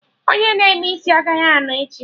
Onye na-eme isi agaghị anọ echi